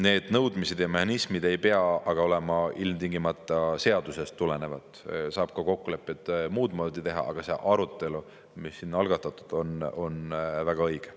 Need nõudmised ja mehhanismid ei pea aga olema ilmtingimata seadusest tulenevad, saab ka muud moodi kokkuleppeid teha, aga see arutelu, mis siin algatatud on, on väga õige.